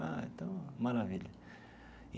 Ah, então, maravilha.